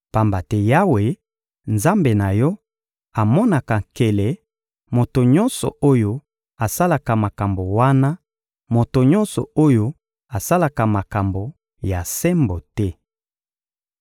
Pamba te Yawe, Nzambe na yo, amonaka nkele, moto nyonso oyo asalaka makambo wana, moto nyonso oyo asalaka makambo ya sembo te.